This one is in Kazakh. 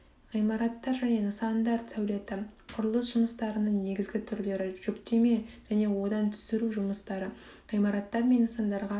ғимараттар және нысандар сәулеті құрылыс жұмыстарының негізгі түрлері жүктеме және одан түсіру жұмыстары ғимараттар мен нысандарға